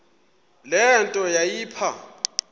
le nto yayipha